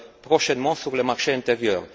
prochainement sur le marché intérieur.